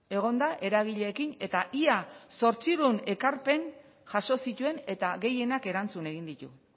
egon da eragileekin eta ia zortziehun ekarpen jaso zituen eta gehienak erantzun egin ditu